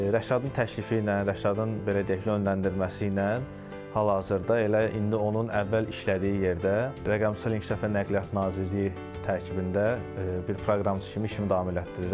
Rəşadın təklifi ilə, Rəşadın belə deyək, yönləndirməsi ilə hal-hazırda elə indi onun əvvəl işlədiyi yerdə rəqəmsal inkişafa nəqliyyat Nazirliyi tərkibində bir proqramçı kimi işimi davam elətdirirəm.